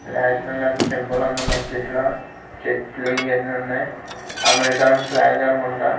నేష్నలాంత్ symbol ఉంది మద్దిట్లో చెట్లు ఈయనున్నాయ్ అమెరికాన్ ఫ్లాగ్ అనుకుంటా.